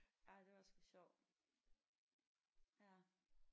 Ej det var sgu sjovt ja